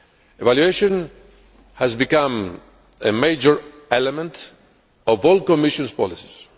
Evaluation has become a major element of all the Commission's policies.